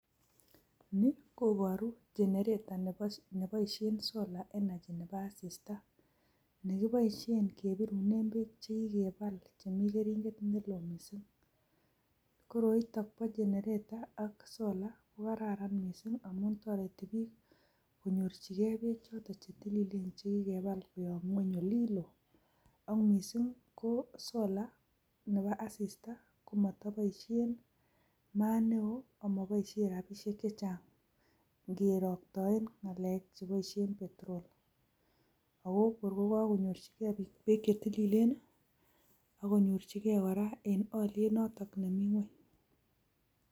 Ni koboru generator neboishen solar energy nebo asista nekiboishen kebirunen beek che kikebal chemi keringet ne loo missing. Koroito bo generator ak solait ko kararn mising amun toreti biik konyorjige beek choto che tililen che kikebal koyob ng'weny olin loo. Ago mising ko solar nebo asista komotoboishen maat neo amoboishen rabishek che chang ngeroktoen ng'alek cheboishen petrol. Ago kor koganyorjige biik beek che tililen, agonyorji ge kora en olyet noto nemi ng'weny.